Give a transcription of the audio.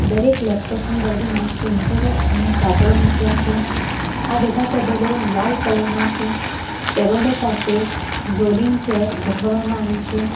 દરેક લેપટોપ ની બાજુમાં પ્રિન્ટરો અને કાગળ મુક્યા છે આ બધા ટેબલો લાલ કલર ના છે ટેબલો પાસે રોલિંગ ચેર ગોઠવવામાં આવી છે.